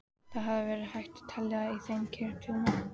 Það hefði verið hægt að telja í þeim kirtlana.